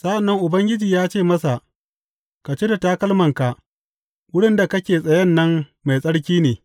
Sa’an nan Ubangiji ya ce masa, Ka cire takalmanka; wurin da kake tsayen nan mai tsarki ne.